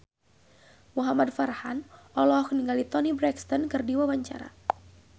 Muhamad Farhan olohok ningali Toni Brexton keur diwawancara